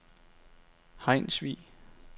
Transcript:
Hejnsvig